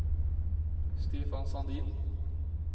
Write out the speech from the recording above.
Stefan Sandin